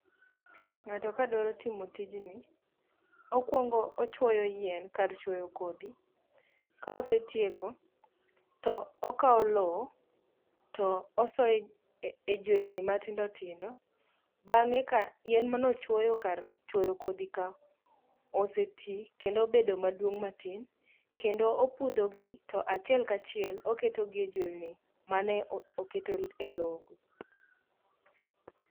Ng'ato kadwaro timo tijni, okwongo ochwoyo yien kar chuoyo kodhi. Ka osetieko, to okawo lowo to osoyo e juelni matindotindo bang'e ka yien mane ochwoyo kar kodhi ka oseti kendo obedo maduong' matin kendo opudhogi to achiel ka achiel oketogi e juelni mane oketo e lowogo.